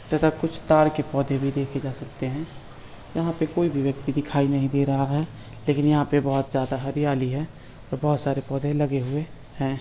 तथा कुछ तार के पौधे भी देखे जा सकते हैं। यहां पे कोई भी व्यक्ति दिखाई नहीं दे रहा हैं लेकिन यहां पे बोहोत जादा हरियाली है और बोहोत सारे पौधे लगे हुए हैं।